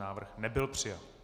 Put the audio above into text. Návrh nebyl přijat.